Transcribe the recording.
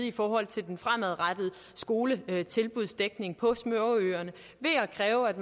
i forhold til den fremadrettede skoletilbudsdækning på småøerne ved at kræve at